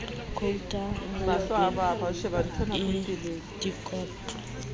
quotas ho be le dikotlo